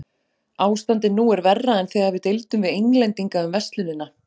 Ástandið nú er verra en þegar við deildum við Englendinga um verslunina.